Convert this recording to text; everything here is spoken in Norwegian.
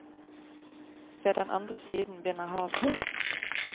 Ved den andre siden begynner havet.